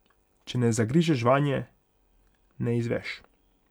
Če ne zagrizeš vanje, ne izveš ...